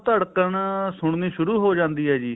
ਧੜਕਣ ਸੁੰਨੀ ਸ਼ੁਰੂ ਹੋ ਜਾਂਦੀ ਹੈ ਜੀ